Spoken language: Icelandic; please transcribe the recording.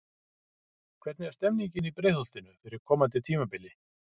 Hvernig er stemningin í Breiðholtinu fyrir komandi tímabili?